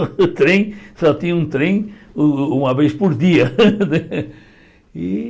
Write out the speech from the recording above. O trem, só tinha um trem u uma vez por dia e.